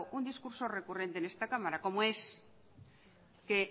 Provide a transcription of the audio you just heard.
un discurso recurrente en esta cámara como es que